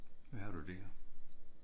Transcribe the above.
Hvad har du der?